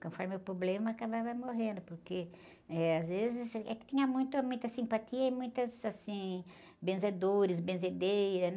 Conforme o problema, acabava morrendo, porque, eh, às vezes, eh, é que tinha muita simpatia e muitas, assim, benzedores, benzedeiras, né?